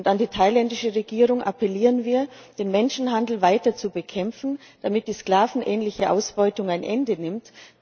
An die thailändische Regierung appellieren wir außerdem, den Menschenhandel weiter zu bekämpfen, damit die sklavenähnliche Ausbeutung ein Ende nimmt.